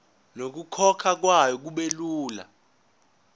nokukhokhwa kwayo kubelula